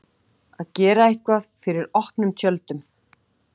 Að gera eitthvað fyrir opnum tjöldum